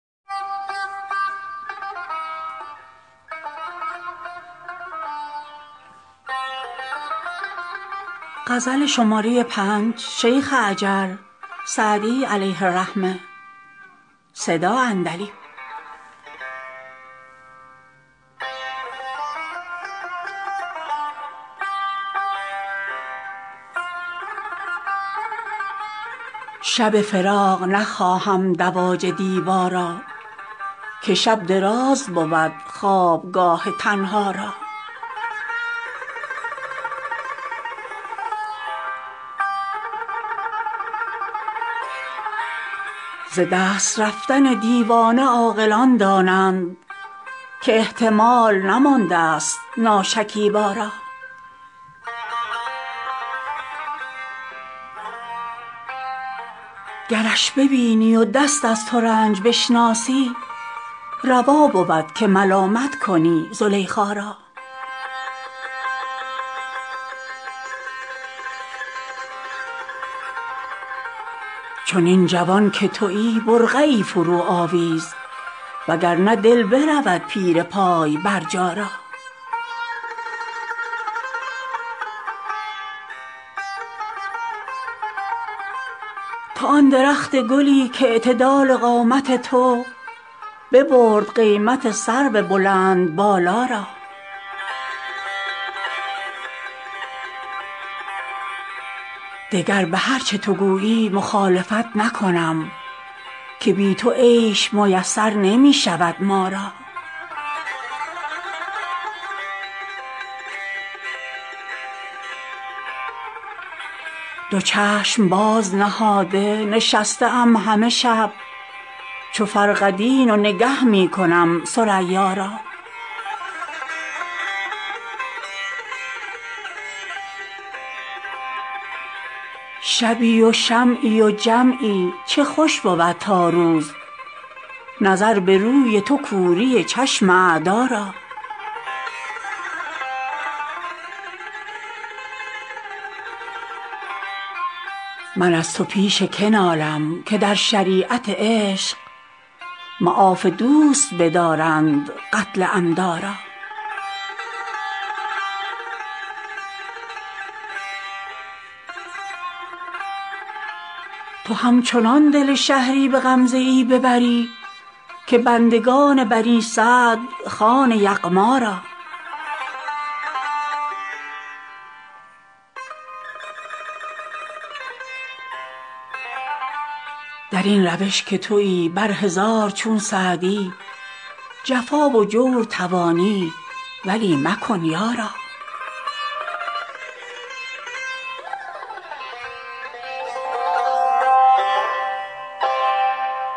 شب فراق نخواهم دواج دیبا را که شب دراز بود خوابگاه تنها را ز دست رفتن دیوانه عاقلان دانند که احتمال نماندست ناشکیبا را گرش ببینی و دست از ترنج بشناسی روا بود که ملامت کنی زلیخا را چنین جوان که تویی برقعی فروآویز و گر نه دل برود پیر پای برجا را تو آن درخت گلی کاعتدال قامت تو ببرد قیمت سرو بلندبالا را دگر به هر چه تو گویی مخالفت نکنم که بی تو عیش میسر نمی شود ما را دو چشم باز نهاده نشسته ام همه شب چو فرقدین و نگه می کنم ثریا را شبی و شمعی و جمعی چه خوش بود تا روز نظر به روی تو کوری چشم اعدا را من از تو پیش که نالم که در شریعت عشق معاف دوست بدارند قتل عمدا را تو همچنان دل شهری به غمزه ای ببری که بندگان بنی سعد خوان یغما را در این روش که تویی بر هزار چون سعدی جفا و جور توانی ولی مکن یارا